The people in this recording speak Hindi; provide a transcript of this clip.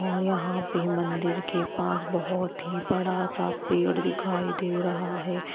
और यहां पे मंदिर के पास बहुत ही बड़ा सा पेड़ दिखाई दे रहा है।